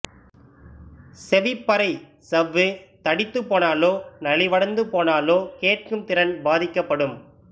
செவிப்பறை சவ்வு தடித்துப் போனாலோ நலிவடைந்து போனாலோ கேட்கும் திறன் பாதிக்கப்படும்